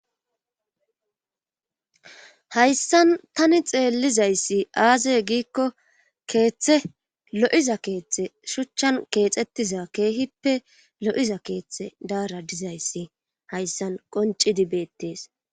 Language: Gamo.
hayssan tani xeellizayssi aazeye giikko keeththe lo7iza keeththe shuchchan keexettiza keehippe lo7iza keeththe daara dizayssi hayssan qonci dibeettees